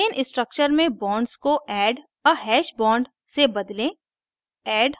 ethane structure में bonds को add a hash bonds से बदलें